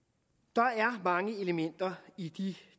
der er mange elementer i de